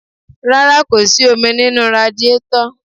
Rárá, kò sì omi nínú radíetọ̀.